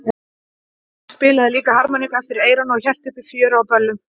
Hann spilaði líka á harmoníku eftir eyranu og hélt uppi fjöri á böllum.